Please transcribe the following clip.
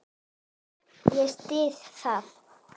Ég styð það.